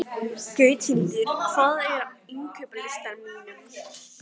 Gauthildur, hvað er á innkaupalistanum mínum?